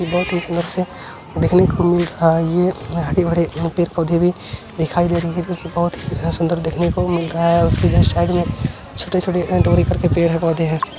ये बहुत ही सुंदर से देखने को मिल रहा है ये हरे-भरे पेड़-पौधे भी दिखाई दे रही हैं जिसमे बहुत सुंदर देखने को मिल रहा है उसके जस्ट साइड में छोटे-छोटे पेड़-पौधे है।